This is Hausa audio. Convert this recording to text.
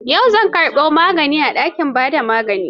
Yau zai karbo maganin a dakin ba da magani.